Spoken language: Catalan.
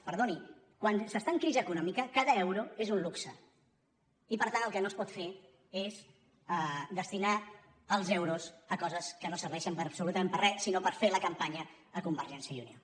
perdoni quan s’està en crisi econòmica cada euro és un luxe i per tant el que no es pot fer és destinar els euros a coses que no serveixen absolutament per a re sinó per fer la campanya a convergència i unió